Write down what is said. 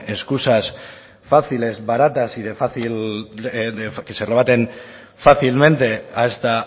escusas fáciles baratas y que se rebaten fácilmente a esta